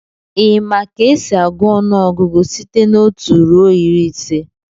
Ị ma ka esi agụọ ọnụọgụgụ site n'otu ruo iri ise?